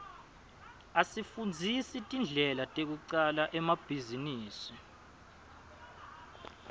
asifundzisa tindlela tekucala emabhizinisi